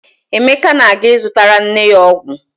Emeka na-aga ịzụtara nne ya ọgwụ.